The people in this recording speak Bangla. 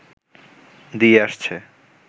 দিয়ে আসছে